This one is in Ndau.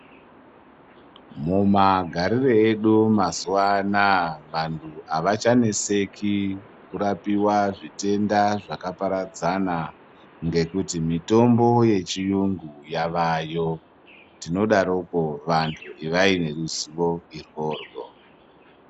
Mumagariro edu mazuva anaya vantu avachanetseki kurapiwa zvitenda zvakaparadzana ngekuti mutombo yechiyungu maningi yayo tinodaroko vanhu ivai neruzivo iryoryo.